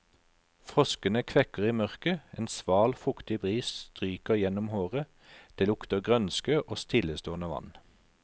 Froskene kvekker i mørket, en sval, fuktig bris stryker gjennom håret, det lukter grønske og stillestående vann.